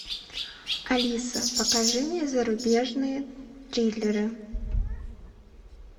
алиса покажи мне зарубежные триллеры